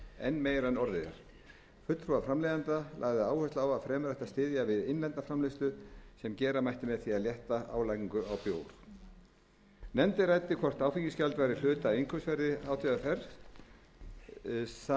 enn meira en orðið er fulltrúi framleiðenda lagði áherslu á að fremur ætti að styðja við innlenda framleiðslu sem gera mætti með því að létta álagningu á bjór nefndin ræddi hvort áfengisgjald væri hluti af innkaupsverði